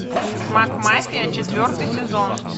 макмафия четвертый сезон